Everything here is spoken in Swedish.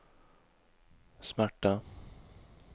smärta